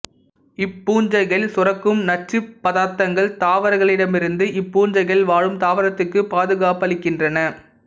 இப்பூஞ்சைகள் சுரக்கும் நச்சுப்பதார்த்தங்கள் தாவரவுண்ணிகளிடமிருந்து இப்பூஞ்சைகள் வாழும் தாவரத்துக்குப் பாதுகாப்பளிக்கின்றன